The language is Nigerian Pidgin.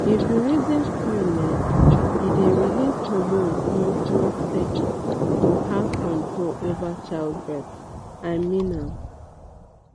if you reason coil um e dey release hormones small small steady to have control over child birth i mean am